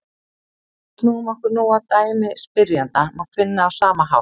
Ef við snúum okkur nú að dæmi spyrjanda má finna á sama hátt: